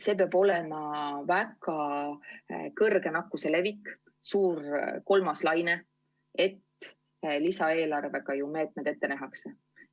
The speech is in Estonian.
See peab olema väga suur nakkuse levik, suur kolmas laine, kui lisaeelarvega meetmed ette nähakse.